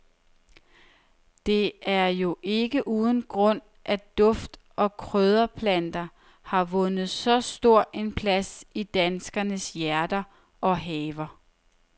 Det er jo ikke uden grund, at duft og krydderplanterne har vundet så stor en plads i danskernes hjerter og haver.